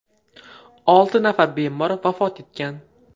Olti nafar bemor vafot etgan.